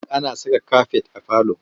Ana saka kafet a falo.